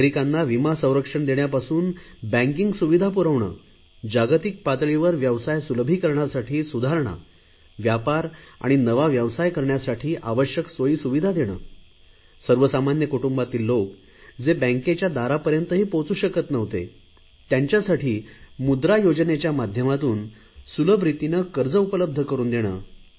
नागरिकांना विमा संरक्षण देण्यापासून बँकिंग सुविधा पुरवणे जागतिक पातळीवर व्यवसाय सुलभीकरणासाठी सुधारणा व्यापार आणि नवा व्यवसाय करण्यासाठी आवश्यक सोयीसुविधा देणे सर्वसामान्य कुटुंबातील लोक जे बँकेच्या दारापर्यंतही पोहचु शकत नव्हते त्यांच्यासाठी मुद्रा योजनेच्या माध्यमातून सुलभ रितीने कर्ज उपलब्ध करुन देणे